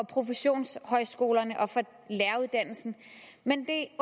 professionshøjskolerne og for læreruddannelsen men det